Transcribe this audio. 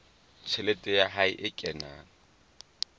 tjhelete ya hae e kenang